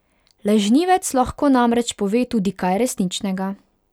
Lažnivec lahko namreč pove tudi kaj resničnega.